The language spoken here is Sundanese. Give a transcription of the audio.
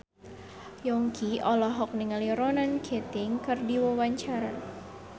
Yongki olohok ningali Ronan Keating keur diwawancara